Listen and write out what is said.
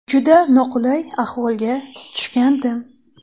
Juda noqulay ahvolga tushgandim.